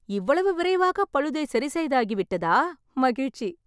இவ்வளவு விரைவாக பழுதை சரி செய்தாகிவிட்டதா? மகிழ்ச்சி.